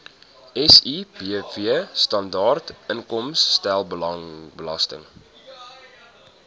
sibw standaard inkomstebelasting